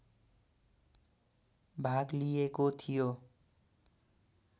भाग लिएको थियो